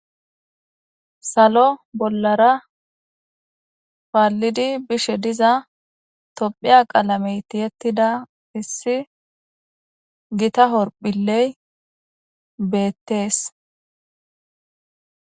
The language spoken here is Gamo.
Sallo bollara paallidi bishe diiza tophiya qaalame tiyettida issi giitta horphphiley beettees.